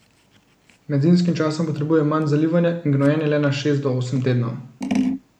Med zimskim časom potrebuje manj zalivanja in gnojenje le na šest do osem tednov.